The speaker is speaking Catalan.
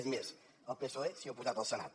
és més el psoe s’hi ha oposat al senat